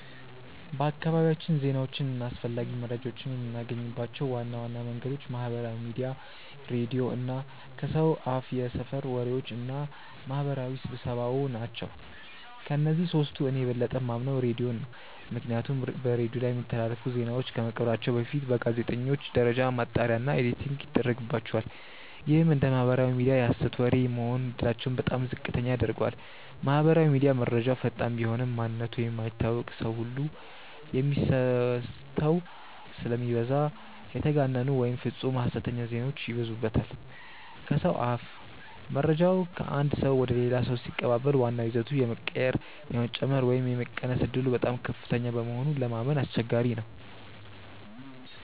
በአካባቢያችን ዜናዎችን እና አስፈላጊ መረጃዎችን የምናገኝባቸው ዋና ዋና መንገዶች ማህበራዊ ሚዲያ፣ ሬዲዮ እና ከሰው አፍየሰፈር ወሬዎች እና ማህበራዊ ስብሰባዎ ናቸው። ከእነዚህ ሶስቱ እኔ የበለጠ የማምነው ሬዲዮን ነው። ምክንያቱም በሬዲዮ ላይ የሚተላለፉ ዜናዎች ከመቅረባቸው በፊት በጋዜጠኞች ደረጃ ማጣሪያ እና ኤዲቲንግ ይደረግባቸዋል። ይህም እንደ ማህበራዊ ሚዲያ የሀሰት ወሬ የመሆን እድላቸውን በጣም ዝቅተኛ ያደርገዋል። ማህበራዊ ሚዲያ፦ መረጃው ፈጣን ቢሆንም፣ ማንነቱ የማይታወቅ ሰው ሁሉ የሚโพስተው ስለሚበዛ የተጋነኑ ወይም ፍፁም ሀሰተኛ ዜናዎች ይበዙበታል። ከሰው አፍ፦ መረጃው ከአንድ ሰው ወደ ሌላ ሰው ሲቀባበል ዋናው ይዘቱ የመቀየር፣ የመጨመር ወይም የመቀነስ ዕድሉ በጣም ከፍተኛ በመሆኑ ለማመን አስቸጋሪ ነው።